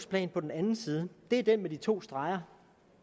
plan på den anden side det er den med de to streger